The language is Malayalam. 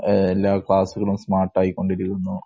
എല്ലാ ക്ലാസ്സുകളും സ്മാര്‍ട്ട് ആയി കൊണ്ടിരിക്കുന്നു.